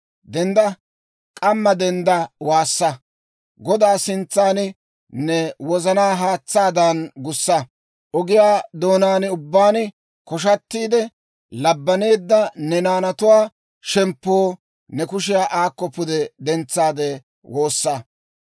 Dendda; k'amma denddaade waassa. Godaa sintsan ne wozanaa haatsaadan gussa. Ogiyaa doonaan ubbaan koshatiide, labbaneedda ne naanatuwaa shemppoo ne kushiyaa aakko pude dentsaade woossa!